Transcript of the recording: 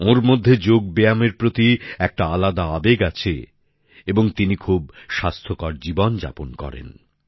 ওঁর মধ্যে যোগব্যায়ামের প্রতি একটা আলাদা আবেগ আছে এবং তিনি খুব স্বাস্থ্যকর জীবনযাপন করেন